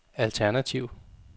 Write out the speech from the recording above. alternativ